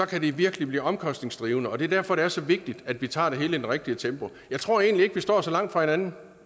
kan det virkelig blive omkostningskrævende det er derfor det er så vigtigt at vi tager det hele i det rigtige tempo jeg tror egentlig ikke at vi står så langt fra hinanden